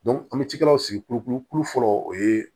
an bɛ cikɛlaw sigi kulukulu fɔlɔ o ye